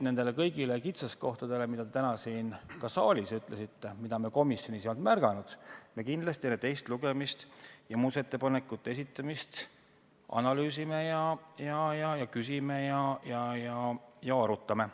Kõiki kitsaskohti, mida te täna siin ka saalis välja tõite ja mida me komisjonis ei olnud märganud, me kindlasti enne teist lugemist ja muudatusettepanekute esitamist analüüsime ja arutame.